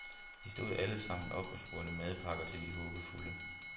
Vi stod alle sammen op, og smurte madpakker til de håbefulde.